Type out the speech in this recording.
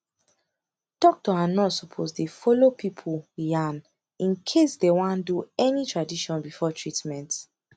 doctor and nurse suppose dey follow pipu yan incase dey wan do any tradition before treatment